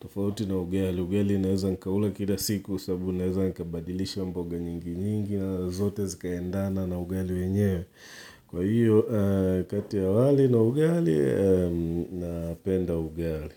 tofauti na ugali, ugali naweza nkaula kila siku sababu naeza nkabadilisha mboga nyingi nyingi na zote zika endana na ugali wenyewe, kwa hiyo kati ya wali na ugali napenda ugali.